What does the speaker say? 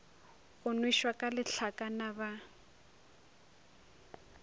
go nwešwa ka lehlakana ba